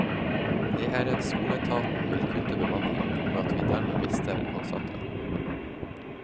Jeg er redd skoleetaten vil kutte bemanningen, og at vi dermed mister ansatte.